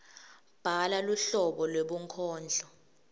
bhala luhlobo lwebunkondlo